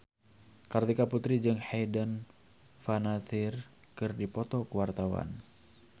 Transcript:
Kartika Putri jeung Hayden Panettiere keur dipoto ku wartawan